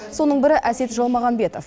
соның бірі әсет жалмағанбетов